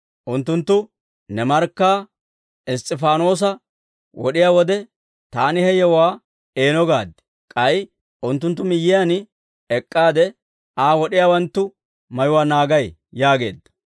Unttunttu ne markkaa Iss's'ifaanoosa wod'iyaa wode, taani he yewuwaa eeno gaad. K'ay unttunttu miyyiyaan ek'k'aade, Aa wod'iyaawanttu mayuwaa naagay› yaageedda.